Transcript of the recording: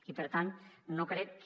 i per tant no crec que